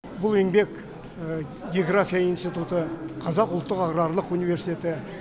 бұл еңбек география институты қазақ ұлттық аграрлық университеті